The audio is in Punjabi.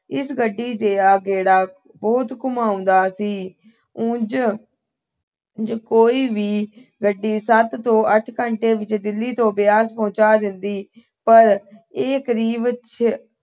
ਇਸ ਗੱਡੀ ਦਾ ਗੇੜਾ ਬਹੁਤ ਘੁੰਮਾਉਂਦਾ ਸੀ। ਉਂਝ ਕੋਈ ਵੀ ਗੱਡੀ ਸੱਤ ਤੋਂ ਅੱਠ ਘੰਟੇ ਵਿੱਚ ਦਿੱਲੀ ਤੋਂ ਬਿਆਸ ਪਹੁੰਚਾ ਦਿੰਦੀ। ਪਰ ਇਹ ਕਰੀਬ ਛੇ